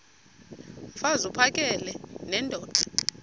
mfaz uphakele nendoda